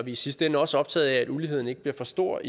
i sidste ende også optaget af at uligheden ikke bliver for stor